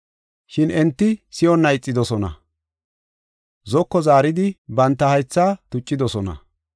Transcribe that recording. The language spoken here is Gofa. “Shin enti si7onna ixidosona; zoko zaaridi banta haythaa tuccidosona.